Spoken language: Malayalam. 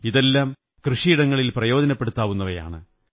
ഇതെല്ലാം കൃഷിയിടത്തിൽ പ്രയോജനപ്പെടുന്നവയാണ്